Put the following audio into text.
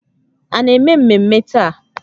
A na-eme mmemme taa?